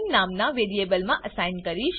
નામના વેરીએબલમા અસાઈન કરીશ